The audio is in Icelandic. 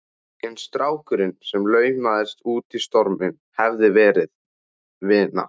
En strákurinn sem laumaðist út í storminn hafði verið vina